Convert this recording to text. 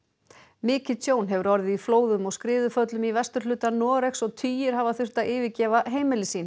mikið tjón hefur orðið í flóðum og skriðuföllum í vesturhluta Noregs og tugir hafa þurft að yfirgefa heimili sín